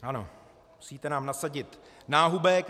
Ano, musíte nám nasadit náhubek.